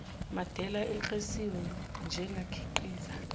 madela ekleliswe njengakhiqiza